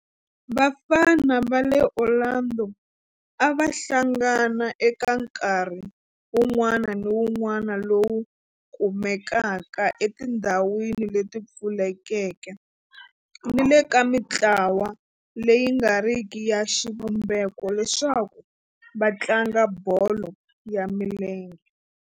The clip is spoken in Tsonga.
Vafana va le Orlando a va hlangana eka nkarhi wun'wana ni wun'wana lowu kumekaka etindhawini leti pfulekeke ni le ka mintlawa leyi nga riki ya xivumbeko leswaku va tlanga bolo ya milenge.